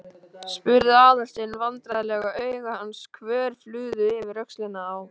spurði Aðalsteinn vandræðalega og augu hans hvörfluðu yfir öxlina á